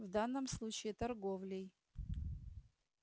в данном случае торговлей